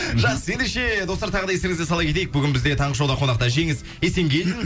жақсы ендеше достар тағы да естеріңізге сала кетейік бүгін бізде таңғы шоуда қонақта жеңіс есенгелдин